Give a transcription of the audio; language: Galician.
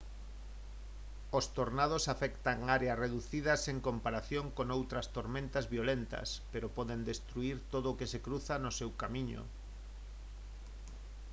os tornados afectan áreas reducidas en comparación con outras tormentas violentas pero poden destruír todo o que se cruza no seu camiño